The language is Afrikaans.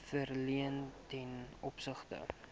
verleen ten opsigte